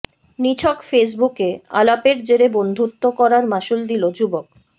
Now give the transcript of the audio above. নিছক ফেসবুকে আলাপের জেরে বন্ধুত্ব করার মাসুল দিল যুবক